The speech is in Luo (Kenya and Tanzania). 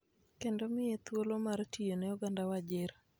kendo omiye thuolo mar tiyo ne oganda Wajir.